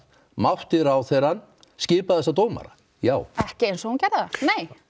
mátti ráðherrann skipa þessa dómara já ekki eins og hún gerði það nei